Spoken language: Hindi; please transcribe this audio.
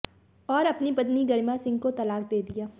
और अपनी पत्नी गरिमा सिंह को तलाक दे दिया